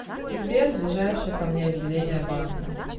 сбер ближайшее ко мне отделение банка